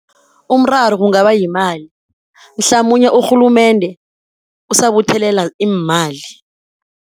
Umraro kungaba yimali mhlamunye urhulumende usabuthelela iimali.